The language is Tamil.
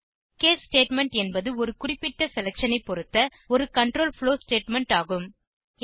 கேஸ் ஸ்டேட்மெண்ட் என்பது ஒரு குறிப்பிட்ட செலக்ஷன் ஐ பொருத்த ஒரு கன்ட்ரோல் ப்ளோவ் ஸ்டேட்மெண்ட் ஆகும்